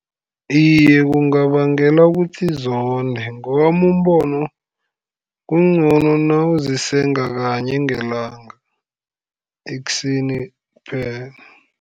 Iye, kungabangela kuthi zonde, ngewami umbono kuncono nawuzisenga kanye ngelanga, ekuseni kphela.